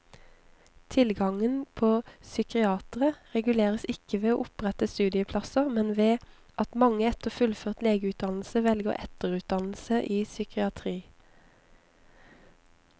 Tilgangen på psykiatere reguleres ikke ved å opprette studieplasser, men ved at mange etter fullført legeutdannelse velger etterutdannelse i psykiatri.